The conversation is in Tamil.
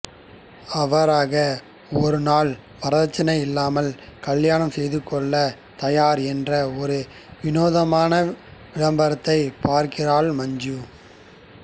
அவ்வாறாக ஒருநாள் வரதட்சணை இல்லாமல் கல்யாணம் செய்துகொள்ளத் தயார் என்ற ஒரு வினோதமான விளம்பரத்தைப் பார்க்கிறாள் மஞ்சு